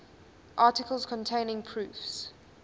articles containing proofs